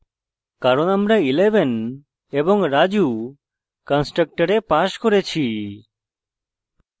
কারণ আমরা 11 এবং raju কন্সট্রকটরে passed করেছি